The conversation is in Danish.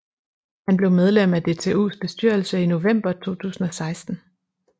Han blev medlem af DTUs bestyrelse i november 2016